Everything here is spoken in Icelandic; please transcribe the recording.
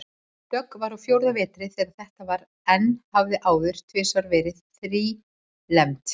Dögg var á fjórða vetri þegar þetta var en hafði áður tvisvar verið þrílembd.